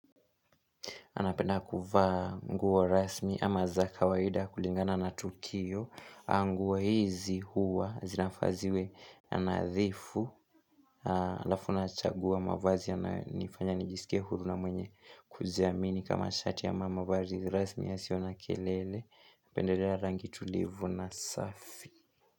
Napenda kuvaa nguo rasmi ama za kawaida kulingana na tukio. Nguo hizi huwa zinafaa ziwe nadhifu. Halafu nachagua mavazi yanayonifanya nijisike huru na mwenye kujiamini. Kama shati ama mavazi rasmi yasio na kelele. Napendelea rangi tulivu na safi.